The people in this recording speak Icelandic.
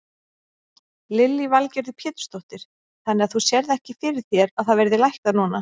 Lillý Valgerður Pétursdóttir: Þannig að þú sérð ekki fyrir þér að það verði lækkað núna?